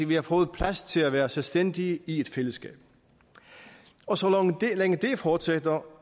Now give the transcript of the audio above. vi har fået plads til at være selvstændige i et fællesskab og så længe det fortsætter